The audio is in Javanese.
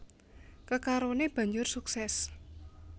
Kekaroné banjur sukses